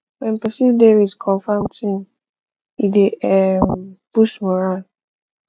when person dey with confirm team e dey um boost morale